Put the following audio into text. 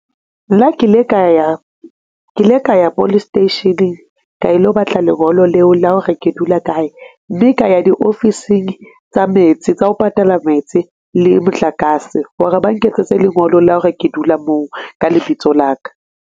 Nna ke ile ka ya, ke ile ka ya police station-eng ka ilo batla lengolo leo la hore ke dula kae. Mme ka ya di ofising tsa metsi, tsa ho patala metsi le motlakase, hore ba nketsetse lengolo la hore ke dula moo ka lebitso la ka.